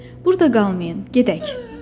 Burda qalmayın, gedək.